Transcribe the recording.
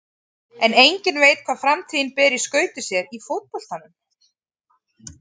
En enginn veit hvað framtíðin ber í skauti sér í fótboltanum.